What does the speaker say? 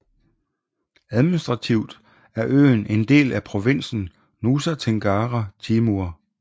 Administrativt er øen en del af provinsen Nusa Tenggara Timur